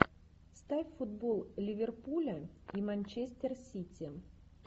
ставь футбол ливерпуля и манчестер сити